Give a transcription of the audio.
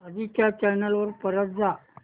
आधी च्या चॅनल वर परत जा